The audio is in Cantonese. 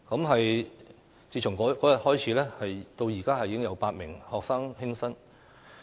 可是，自那天起，已再有8名學生輕生。